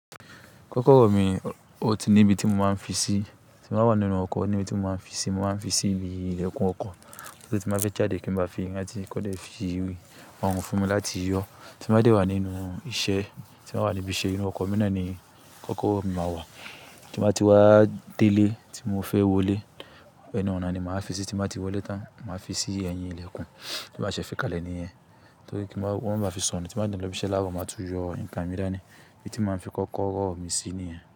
Kọ́kọ́rọ́ mi, ó ti ní ibi tí mo máa ń fi sí. Tí mo bá wà nínú ọkọ̀ níbi tí mo máa ń fi sí, mo máa ń fi sí ibi ìlẹ̀kùn ọkọ̀. Torí tí mo bá fẹ́ jáde kí n máa fi, wọ́n á ti kọ́dẹ̀ fi òòrùn fún mi láti yọ. Tí mo bá dé wà nínú iṣẹ́, tí mo bá wà níbi iṣẹ́ inú ọkọ̀, mí nàáni kọ́kọ́rọ́ mi máa wà. Tí mo bá ti wá délé tí mo fẹ́ wọlé, ẹnu àná ni màá fi sí. Tí mo bá ti wọlé tán, màá fi sí ẹ̀yìn ìlẹ̀kùn tí màá ṣe fi kalẹ̀ níyẹn. Torí kí wọ́n máa fi sọnù. Tí mo bá dé n lọ ibi iṣẹ́ láárọ̀, màá tún yọ nǹkan mì dàní, ní ibi tí màá fi kọ́kọ́rọ́ mi sí níyẹn.